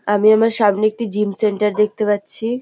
আমি আমার সামনে একটি জিম সেন্টার দেখতে পাচ্ছি।